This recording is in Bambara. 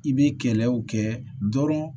I bɛ kɛlɛw kɛ dɔrɔn